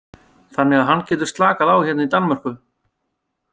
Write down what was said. Þannig að hann getur slakað á hérna í Danmörku.